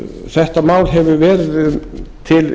þetta mál hefur verið til